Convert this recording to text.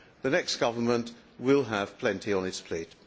The next government will have plenty on its plate.